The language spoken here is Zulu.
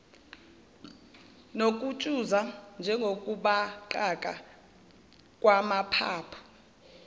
nokutshuza njengokubaqaka kwamaphaphu